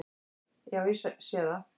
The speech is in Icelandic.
Já, ég sé það!